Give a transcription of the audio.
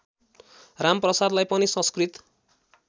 रामप्रसादलाई पनि संस्कृत